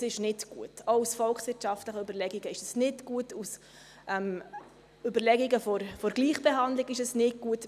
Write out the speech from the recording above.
Das ist nicht gut, auch aus volkswirtschaftlichen Überlegungen ist es nicht gut, und auch aus Überlegungen der Gleichbehandlung ist es nicht gut.